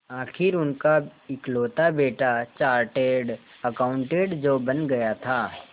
आखिर उनका इकलौता बेटा चार्टेड अकाउंटेंट जो बन गया था